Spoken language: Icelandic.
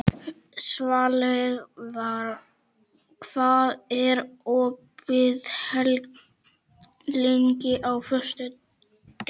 Svanlaug, hvað er opið lengi á föstudaginn?